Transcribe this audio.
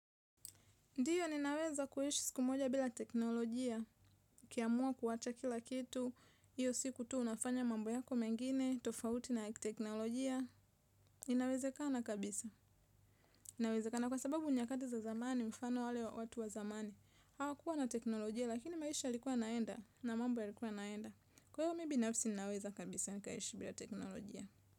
Ndio ninaweza kuishi siku moja bila teknolojia ukiamua kuwacha kila kitu hio siku tu unafanya mambo yako mengine tofauti na ya kiteknolojia inawezekana kabisa inawezekana kwasababu nyakati za zamani, mfano wale watu wa zamani. Hawakua na teknolojia lakini maisha yalikua yanaenda na mambo yalikua yanaenda kwa hivyo mimi binafsi ninaweza kabisa nikaishi bila teknolojia.